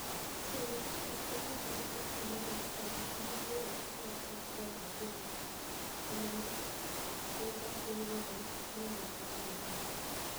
(Suni)nig, at makwiniy ma ja tim mar West Ham Mani e guyo owacho nii opanigo dor e tim no to kata kamano nigima mar piniy lonidoni ni emore ahiniya.